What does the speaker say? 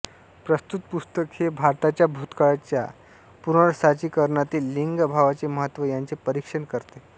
प्रस्तुत पुस्तक हे भारताच्या भूतकाळाच्या पूर्नसाचीकरणातील लिंगभावाचे महत्त्व याचे परिक्षण करते